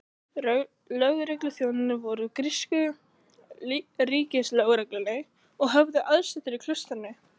Lögregluþjónarnir voru úr grísku ríkislögreglunni og höfðu aðsetur í klaustrinu.